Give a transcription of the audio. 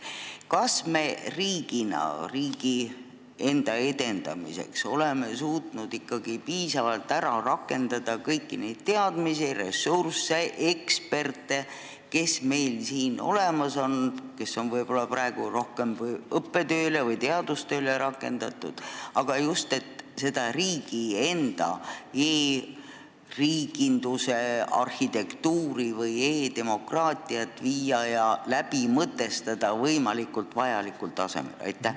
Kas me oleme ikkagi suutnud piisavalt rakendada kõiki neid teadmisi, ressursse ja eksperte, kes meil siin olemas on ning kes praegu on ehk rohkem õppe- või teadustööle rakendatud, just selleks, et riigi enda e-riiginduse arhitektuuri, e-demokraatiat vajalikul tasemel lahti mõtestada?